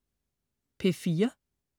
P4: